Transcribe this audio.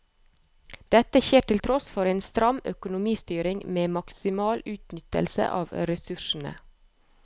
Dette skjer til tross for en stram økonomistyring med maksimal utnyttelse av ressursene.